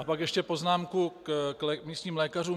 A pak ještě poznámku k místním lékařům.